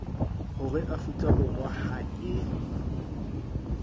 hore afrika borwa ha e